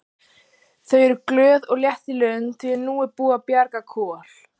Þau eru glöð og létt í lund því að nú er búið að bjarga Kol.